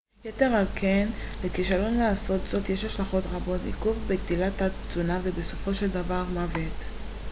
יתר על כן לכישלון לעשות זאת יש השלכות חמורות עיכוב בגדילה תת-תזונה ובסופו של דבר מוות